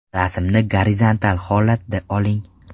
Rasmni gorizontal holatda oling.